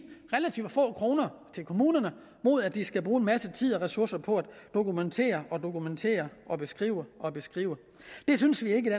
relativt få kroner til kommunerne mod at de skal bruge en masse tid og ressourcer på at dokumentere og dokumentere og beskrive og beskrive det synes vi ikke